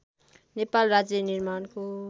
नेपाल राज्य निर्माणको